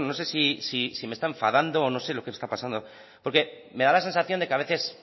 bueno no sé si me está enfadando o no sé lo que está pasando porque me da la sensación de a veces